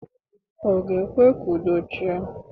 Ọ ga-ekwe ka udo chịa?